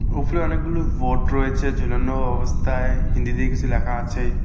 উপরে অনেকগুলো ভোর্ড রয়েছে ঝুলানো অবস্থায় হিন্দিতে কিছু লেখা আছে।